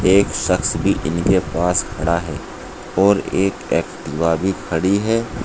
एक शक्स भी इनके पास खड़ा है और एक एक्टिवा भी खड़ी है।